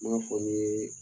N m'a fɔ ni ye